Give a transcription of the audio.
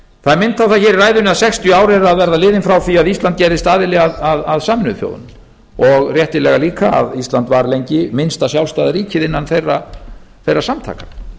það er minnst á það hér í ræðunni að sextíu ár eru að verða liðin frá því að ísland gerðist aðili að sameinuðu þjóðunum og réttilega líka að ísland var lengi minnsta sjálfstæða ríkið innan þeirra samtaka